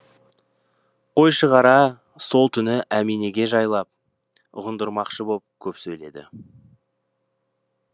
қойшығара сол түні әминеге жайлап ұғындырмақшы боп көп сөйледі